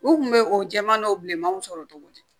U kun bɛ o jɛman dɔ bilemanw sɔrɔ cogo di